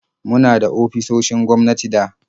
Muna da ofisoshin gwamnati da